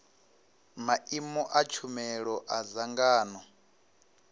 maimo a tshumelo a dzangano